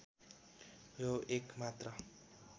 यो एक मात्र